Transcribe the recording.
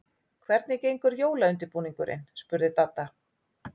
Hvernig gengur jólaundirbúningurinn? spurði Dadda.